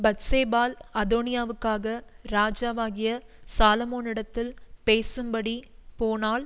பத்சேபாள் அதோனியாவுக்காக ராஜாவாகிய சாலொமோனிடத்தில் பேசும்படி போனாள்